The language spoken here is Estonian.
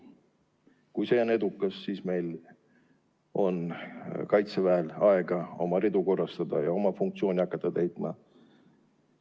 Kui see on edukas, siis on meie Kaitseväel aega oma ridu korrastada ja hakata oma funktsiooni täitma.